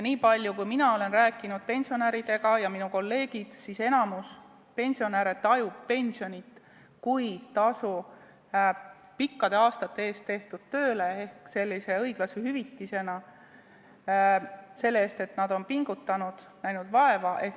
Niipalju kui mina olen rääkinud ja minu kolleegid on pensionäridega rääkinud, võin öelda, et enamik pensionäre tajub pensionit kui tasu pikkade aastate jooksul tehtud töö eest ehk õiglase hüvitisena selle eest, et nad on pingutanud, näinud vaeva.